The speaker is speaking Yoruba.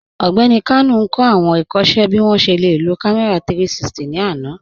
Ọgbẹni Kanu n kọ awọn ikọṣẹ bi wọn ṣe le lo kàmẹ̀rà 360 ni àná.